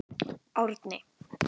Árni